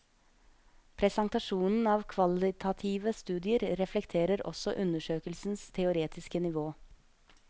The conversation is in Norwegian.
Presentasjonen av kvalitative studier reflekterer også undersøkelsens teoretiske nivå.